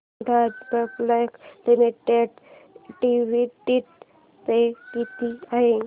Vedanta public limited dividend pay किती आहे